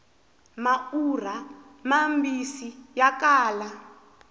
maurha mambisi ya kala